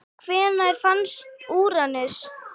Hvenær fannst Úranus?